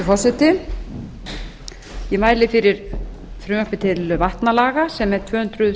forseti ég mæli fyrir frumvarpi til vatnalaga sem er tvö hundruð